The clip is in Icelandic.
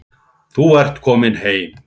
Þú ert komin heim.